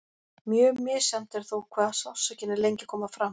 Mjög misjafnt er þó hvað sársaukinn er lengi að koma fram.